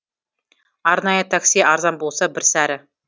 арнайы такси арзан болса бір сәрі